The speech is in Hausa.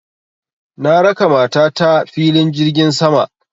Na raka mata ta filin jirgin sama